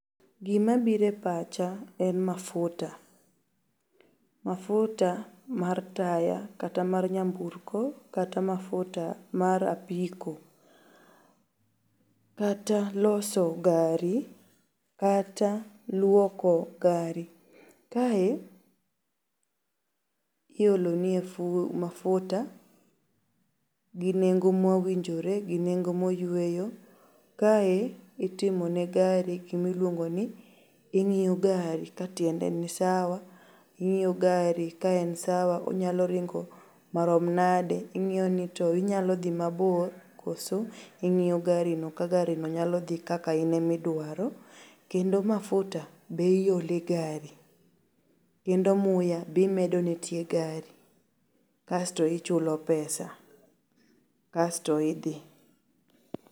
Gimabire pacha en mafuta. Mafuta mar taya kata mar nyamburko kata mafuta mar apiko kata loso gari kata luoko gari. Kae iolonie mafuta ginengo mowinjore, gi nengo moyueyo. Kae itimo ne gari gimiluongoni, ing'iyo gari ka tiende ni sawa. Ing'iyo gari ka en sawa onyalo ringo marom nade. Ing'ioni to inyalodhi mabor koso? Ing'iyo gari no ka gari no nyalo dhi kaka inemiduaro kendo mafuta be iole gari kendo muya bimedone tie gari kasto ichulo pesa kasto idhii.